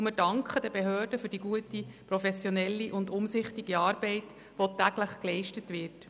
Wir danken den Behörden für die gute, professionelle und umsichtige Arbeit, die täglich geleistet wird.